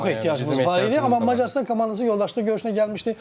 Bizim çox ehtiyacımız var idi, amma Macarıstan komandası yoldaşlıq görüşünə gəlmişdi.